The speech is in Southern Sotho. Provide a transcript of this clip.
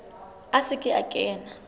a se ke a kena